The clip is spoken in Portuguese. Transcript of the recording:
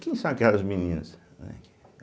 Quem são aquelas meninas? né